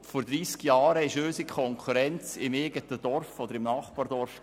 Vor 30 Jahren befand sich unsere Konkurrenz im eigenen Dorf oder im Nachbardorf.